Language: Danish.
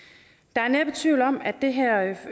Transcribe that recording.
der er næppe tvivl om at det her